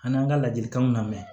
An n'an ka ladilikanw na mɛn